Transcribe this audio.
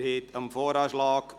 (VA; Antrag FiKo-Mehrheit